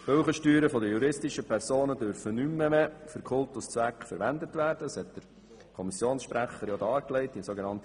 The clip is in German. Weiter dürfen die Kirchensteuern der juristischen Personen nicht mehr für Kultuszwecke verwendet werden, wie der Kommissionssprecher dargelegt hat.